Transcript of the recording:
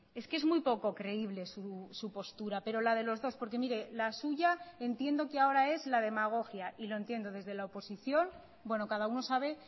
es que es muy poco creíble su postura pero la de los dos porque mire la suya entiendo que ahora es la demagógia y lo entiendo desde la oposición bueno cada uno sabe